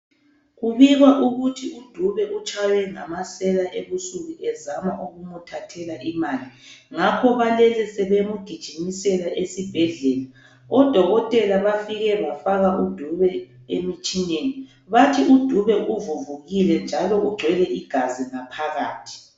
Kubikwa ukuthi uDube utshaywe ngamasela ebusuku ezama ukumthathela imali. Ngakho balele sebemgijimisela esibhedlela. Odokotela bafike bafaka uDube emtshineni. Bathi uDube uvuvukile njalo ugcwele igazi ngaphakathi.